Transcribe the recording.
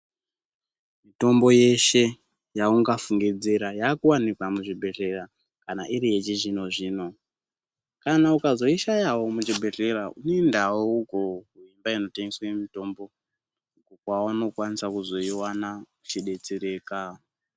Mitombo yeshe yaungafungidzira yakuwanikwa muzvibhehlera kana iri yechizvino-zvino. Kana ukazoishayawo muzvibhehlera unoendawo uko kumba inotengeswe mitombo kwaunokwanisa kuzoiwana uchidetsereka.